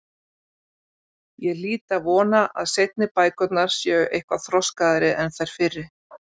Ég hlýt að vona að seinni bækurnar séu eitthvað þroskaðri en þær fyrri.